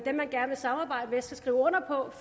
skal skrive under på